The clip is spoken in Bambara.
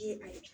Ye ayi